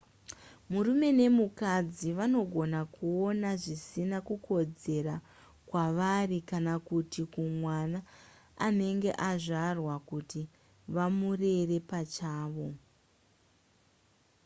murume nemukadzi vanogona kuona zvisina kukodzera kwavari kana kuti kumwana anenge azvarwa kuti vamurere pachavo